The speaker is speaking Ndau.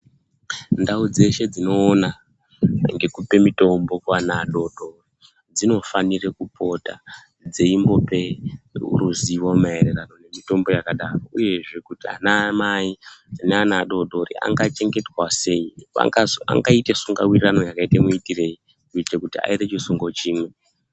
Ndau dzeshe dzinoona ngekupe mutombo kuana adori dori dzinofanira kupota dzeimbope ruzivo maererano nemitombo yakadaro, uyezve kuti anamai naana adori adori angachengetwa sei. Angaite sungawirirano yakaite muitireyi kuitira kuti aite chisungo chimwe.